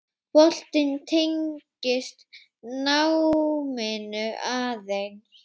Boltinn tengist náminu aðeins.